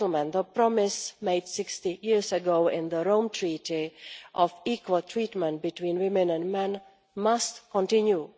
The promise made 60 years ago in the Rome Treaty of equal treatment between women and men must continue.